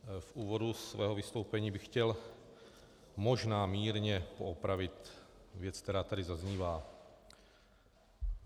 V úvodu svého vystoupení bych chtěl možná mírně poopravit věc, která tady zaznívá.